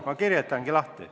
Ma kirjeldangi neid.